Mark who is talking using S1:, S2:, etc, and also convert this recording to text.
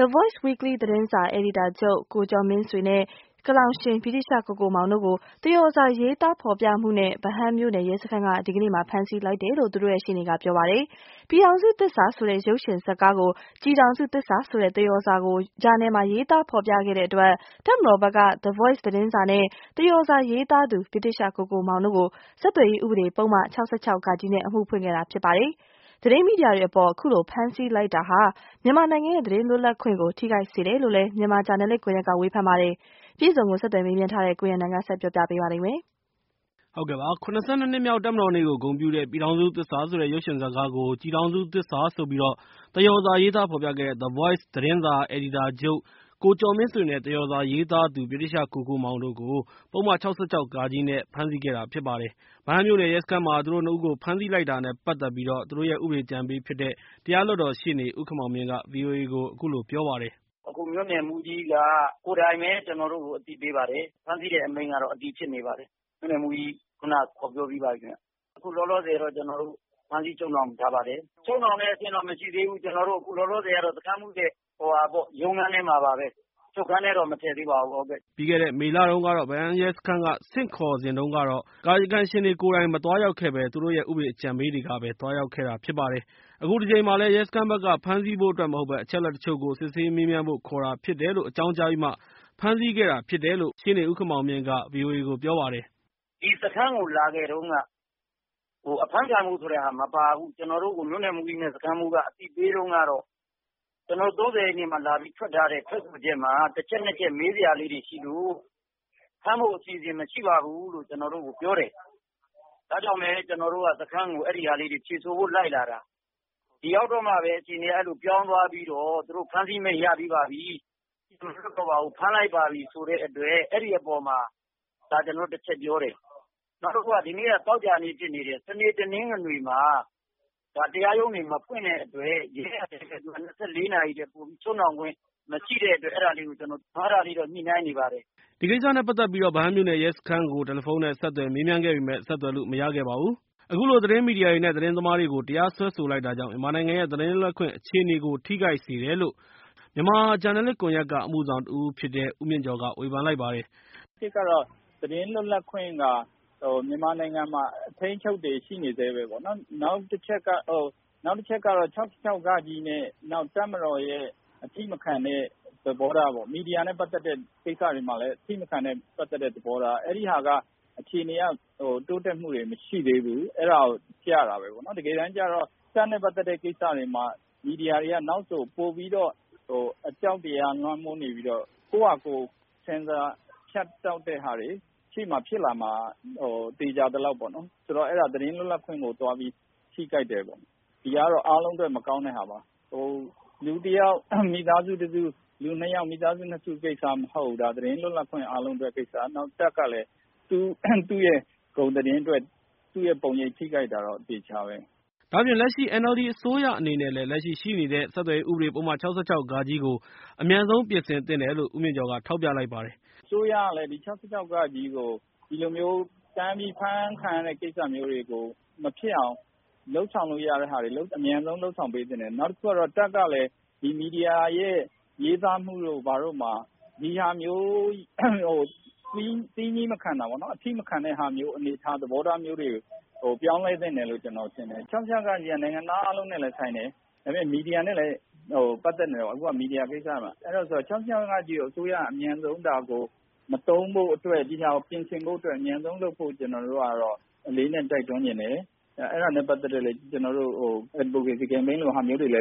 S1: The Voice Weekly သတင်းစာ အယ်ဒီတာချုပ် ကိုကျော်မင်းဆွေ နဲ့ ဗြိတိသျှ ကိုကိုမောင်တို့ကို သရော်စာရေးသားဖော်ပြမှု နဲ့ ဗဟန်းမြို့နယ် ရဲစခန်းက ဒီကနေ့ ဖမ်းဆီးလိုက်တယ်လို့ သူ့တို့ရဲ့ရှေ့နေက ပြောပါတယ်။ ပြည်ထောင်စုသစ္စာဆိုတဲ့ ရုပ်ရှင်ဇာတ်ကားကို ကျည်ထောင်စုသစ္စာ ဆိုတဲ့ သရော်စာကို ဂျာနယ်မှာရေးသားဖော်ပြ ခဲ့တဲ့ အတွက် တပ်မတော်ဘက်က The Voice သတင်းစာ နဲ့ သရော်စာရေးသားသူ ဗြိတိသျှ ကိုကိုမောင် တို့ကို ဆက်သွယ်ရေးဥပဒေ ပုဒ်မ ၆၆-ဃ နဲ့ အမှုဖွင့် ခဲ့တာဖြစ်ပါတယ်။ သတင်းမီဒီယာတွေအပေါ် အခုလိုဖမ်းဆီး လိုက်တာဟာ မြန်မာနိုင်ငံရဲ့ သတင်းလွတ်လပ်ခွင့်ကို ထိခိုက်စေတယ်လို့လည်း မြန်မာဂျာနယ်လစ်ကွန်ရက်က ကလည်း ဝေဖန်လိုက်ပါတယ်။ ကိုထက်အောင်ခန့် ဆက်သွယ်မေးမြန်းထားတာကို ကိုရန်နိုင်က ပြောပြပေးမှာဖြစ်ပါတယ်။ ၇၂ နှစ်မြောက် တပ်မတော်နေ့ကို ဂုဏ်ပြုတဲ့ ပြည်ထောင်စုသစ္စာဆိုတဲ့ ရုပ်ရှင်ဇတ်ကားကို ကျည်ထောင်စုသစ္စာဆိုပြီး သရော်စာရေးသား ဖော်ပြခဲ့တဲ့ The Voice သတင်းစာ အယ်ဒီတာချုပ် ကိုကျော်မင်းဆွေ နဲ့ သရော်စာရေးသားသူ ဗြိတိသျှကိုကိုမောင်တို့ကို ပုဒ်မ ၆၆ ဖမ်းဆီးခဲ့တာဖြစ်ပါတယ်။ ဗဟန်းမြို့နယ်ရဲစခန်းမှာ သူတို့ ၂ ဦးကို ဖမ်းဆီးလိုက်တာ နဲ့ ပတ်သက်ပြီး သူတို့ရဲ့ဥပဒေအကြံပေးဖြစ်တဲ့ တရားလွှတ်တော် ရှေ့နေ ဦးခင်မောင်မြင့်က ဗွီအိုအေကို ပြောပါတယ်။
S2: " အခုမြို့နယ်မှူးကြီးက ကိုယ်တိုင်ပဲ ကျနော်တို့ကို အသိပေးပါတယ်။ ဖမ်းဆီးတဲ့အမိန့် ကတော့ အတည်ဖြစ်နေပါတယ်။ မြို့နယ်မှူးကြီး ခုနက ခေါ်ပြောပြီးပါပြီခင်ဗျ။ အခုလောလောဆယ်တော့ ဖမ်းဆီးချုပ်နှောင်ထားပါတယ်။ ချုပ်နှောင်တဲ့အဆင့်တော့ မရှိသေးဘူး စခန်းမှူုးရဲ့ရုံးခန်းထဲမှာပါပဲ။ အချုပ်ခန်းထဲတော့ မထည့်သေးပါဘူး။
S1: " ပြီးခဲ့တဲ့ မေလတုန်းက ဗဟန်းရဲစခန်းက ဆင့်ခေါ်တုန်းကတော့ ကာယကံရှင်တွေကိုယ်တိုင် မသွားရောက်ခဲ့ဘဲ ၊ သူတို့ရဲ့ ဥပဒေအကြံပေးတွေကပဲ စခန်းကို သွားရောက်ခဲ့ တာဖြစ်ပါတယ်။ အခုတကြိမ်မှာလည်း ရဲစခန်းဘက်က ဖမ်းဆီးဖို့အတွက် မဟုတ်ဘဲ အချက်အလက် တချို့ကို စစ်ဆေးမေးမြန်းဖို့ ခေါ်တာဖြစ်တယ်လို့ အကြောင်းကြားပြီးမှ ဖမ်းဆီးခဲ့ တာဖြစ်တယ်လို့ ဦးခင်မောင်မြင့်က ဆက်ပြောပါတယ်။
S2: " ဒီစခန်းကို လာခဲ့တုန်းက အဖမ်းခံရမယ်ဆိုတာ မပါဘူး။ ကျနော်တို့ကို မြို့နယ်မှူးကြီးနဲ့ စခန်းမှူးကြီးက အသိပေးတုန်းကတော့ ကျနော်တို့ ၃၀ရက်နေ့က ထွက်ထားတဲ့ ထွက်ဆိုချက်မှာ တချက်၊ နှစ်ချက် မေးစရာလေးတွေရှိလို့ဖမ်းဖို့အစီအစဉ်မရှိပါဘူးလို့ ကျနော်တို့ကိုပြောတယ်။ ဒါကြောင့်လည်း ကျနော်တို့က အဲ့တာလေးတွေ ဖြေဆိုဖို့ လိုက်လာတာ။ ဒီရောက်တော့မှပဲ အခြေအနေက အဲ့လိုပြောင်းသွားပြီးတော့ သူတို့ဖမ်းဆီးမိန့်ရပြီးပါပြီ ပြန်မလွှတ်တော့ဘူး ဖမ်းလိုက်ပါပြီဆိုတဲ့အတွက် အဲ့ဒီ့အပေါ်မှာ ဒါကျနော်တို့ တချက်ပြောတယ်။ နောက်တခုက ဒီနေ့က သောကြာနေ့ဖြစ်နေတယ်။ စနေ၊ တနင်္ဂနွေမှာ တရားရုံးတွေ မဖွင့်တဲ့အတွက် ရဲကလည်း ၂၄နာရီထက်ပိုပြီး ချုပ်နှောင်ခွင့် မရှိတဲ့အတွက် အဲ့တာလေးတော့ ညှိနှိုင်းနေပါတယ်
S1: ။" ဒီကိစ္စနဲ့ ပတ်သက်ပြီး ဗဟန်းမြို့နယ်ရဲစခန်းကို တယ်လီဖုန်း နဲ့ ဆက်သွယ်မေးမြန်းခဲ့ပေ မယ့် ဆက်သွယ်လို့မရခဲ့ပါဘူး။ အခုလို သတင်းမီဒီယာတွေ နဲ့ သတင်းသမားတွေကို တရားစွဲဆိုလိုက်တာကြောင့် မြန်မာနိုင်ငံရဲ့ သတင်းလွတ်လပ်ခွင့် အခြေအနေကို ထိခိုက်တယ်လို့ မြန်မာ သတင်းဂျာနယ်လစ် ကွန်ယက်က အမှုဆောင်တဦးဖြစ်တဲ့ ဦးမြင့်ကျော်က ဝေဖန်လိုက်ပါတယ်
S3: ။ "သတင်းလွတ်လပ်ခွင့်က မြန်မာနိုင်ငံမှာ အထိန်းအချုပ်တွေ ရှိနေဆဲပဲပေါ့နော်။ နောက်တချက်က ၆၆ ဃနဲ့ တပ်မတော်ရဲ့အထိမခံတဲ့သဘောထားပေါ့။ မီဒီယာနဲ့ပတ်သက်တဲ့ ကိစ္စတွေမှာလည်း အထိမခံတဲ့သဘောထား အဲ့ဒီ့ဟာကိုက အခြေအနေတွေက တိုးတက်မှုတွေ မရှိသေးဘူး။ အဲ့တာကို ပြတာပဲပေါ့နော် တကယ်တမ်းကျတော့ တပ်နဲ့ပတ်သက်တဲ့ကိစ္စတွေမှာ မီဒီယာတွေက နောက်ဆို ပိုပြီးတော့ အကြောက်တရားလွှမ်းမိုးနေပြီးတော့ ကိုယ့်ဘာသာကိုယ် ဆင်ဆာဖြတ်တောက်တဲ့ ဟာတွေ ရှေ့မှာဖြစ်လာမှာ သေချာသလောက်ပေါ့ ဆိုတော့ အဲ့တာ သတင်းလွတ်လပ်ခွင့်ကို သွားပြီး ထိခိုက်တယ်ပေါ့ ဒီဟာကတော့ အားလုံးအတွက် မကောင်းတဲ့ဟာပါ လူတယောက် မိသားစုတစု၊လူနှစ်ယောက် မိသားစုနှစ်စု ကိစ္စမဟုတ်ဘူး။ သတင်းလွတ်လပ်ခွင့် အားလုံးအတွက်ကိစ္စ နောက် တပ်ကလည်း သူ့ရဲ့ဂုဏ်သတင်းအတွက် သူ့ရဲ့ပုံရိပ်ထိခိုက်တာတော့ အသေအချာပဲ။
S1: " ဒါ့အပြင် လက်ရှိ NLD အစိုးရအနေနဲ့လည်း လက်ရှိရှိနေတဲ့ ဆက်သွယ်ရေးဥပဒေပုဒ်မ ၆၆ ကို အမြန်ဆုံးပြင်ဆင်သင့်တယ်လို့လည်း ဦးမြင့်ကျော်က ထောက်ပြလိုက်ပါတယ်
S3: ။ " အစိုးရကလည်း ဒီ ၆၆ဃကို ဒီလိုမျိုး တန်းအဖမ်းခံရတဲ့ကိစ္စမျိုးတွေ မဖြစ်အောင် လုပ်ဆောင်လို့ရတဲ့ကိစ္စတွေကို အမြန်ဆုံးလုပ်ဆောင်ပေးသင့်တယ်။ နောက်တခုကတော့ တပ် ကလည်း မီဒီယာရဲ့ရေးသားမှုတွေမှာ ဒါဟာမျိုး သီးမခံတာပေါ့နော် သီးမခံတဲ့ သဘောထားမျိုးတွေကို ပြောင်းလဲသင့်တယ်လို့ ကျနော်ထင်တယ်။ ၆၆ ဃက နိုင်ငံသားအားလုံး နဲ့လည်းဆိုင်တယ်။ မီဒီယာနဲ့လည်း ပတ်သက်နေတယ်။ အဲ့တာကြောင့် ၆၆ ဃကို အစိုးရက အမြန်ဆုံး ဒါကို မသုံးဖို့အတွက် ဒီဟာကို ပြင်ဆင်ဖို့အတွက် အမြန်ဆုံးလုပ်ဖို့ ကျနော်တို့ကတော့ အလေးအနက် တိုက်တွန်းချင်တယ်။ အဲ့တာနဲ့ပတ်သက်လို့ ကျနော်တို့ Advocacy ကမ်ပိမ်းတွေ